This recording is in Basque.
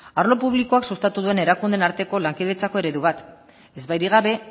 arlo publikoak sustatu duen erakundeen arteko lankidetzako eredu bat ezbairik gabe